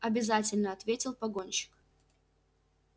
обязательно ответил погонщик